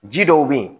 Ji dɔw be yen